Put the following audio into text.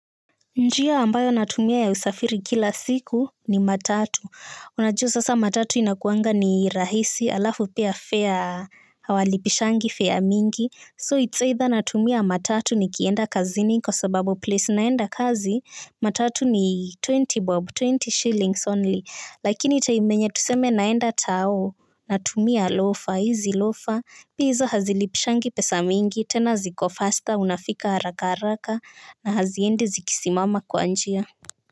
Njia ambayo natumia ya usafiri kila siku ni matatu. Unajua sasa matatu inakuanga ni rahisi alafu pia fare hawalipishangi fare mingi. So it's either natumia matatu nikienda kazini kwa sababu place naenda kazi matatu ni ishirini shillings only. Lakini hii yenye tuseme naenda tao natumia lofa, hizi lofa. Pia hizo hazilipishangi pesa mingi tena ziko faster unafika haraka haraka na haziendi zikisimama kwa njia.